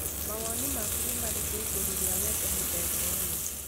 Mawoni maku nĩ marĩkũ igũrũ rĩa wendo mũthemba ũyũ?